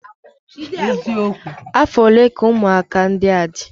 Afọ ole ka ụmụaka ndị a dị?